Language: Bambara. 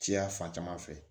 Cɛya fan caman fɛ